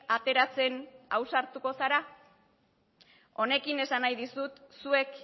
ateratzen ausartuko zara honekin esan nahi dizut zuek